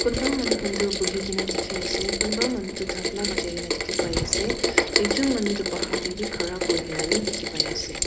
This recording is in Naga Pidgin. kunba manu khan toh bhuina dekhi ase kunba manu toh tabla bajai na dekhi paise ekjon manu toh bhar tae vi khara kurina dekhi paiase.